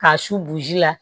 K'a su bo ji la